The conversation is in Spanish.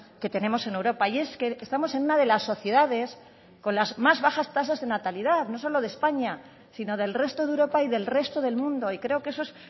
que tenemos en europa y es que estamos en una de las sociedades con las más bajas tasas de natalidad no solo de españa sino del resto de europa y del resto del mundo y creo que eso es